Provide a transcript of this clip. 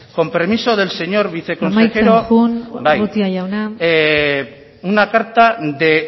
con permiso del señor viceconsejero amaitzen joan urrutia jauna bai una carta de